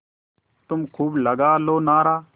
तुम खूब लगा लो नारा